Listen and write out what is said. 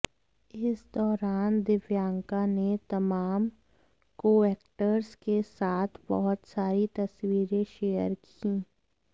इस दौरान दिव्यांका ने तमाम कोएक्टर्स के साथ बहुत सारी तस्वीरें शेयर कीं